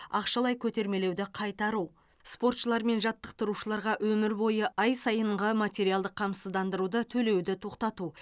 ақшалай көтермелеуді қайтару спортшылар мен жаттықтырушыларға өмір бойы ай сайынғы материалдық қамсыздандыруды төлеуді тоқтату